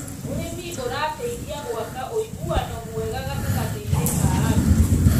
ũrĩmi ũrateithia gwakaũiguano mwega gatagatĩ ka andũ.